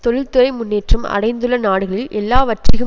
தொழில்துறை முன்னேற்றம் அடைந்துள்ள நாடுகளில் எல்லாவற்றிகும்